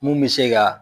Mun bɛ se ka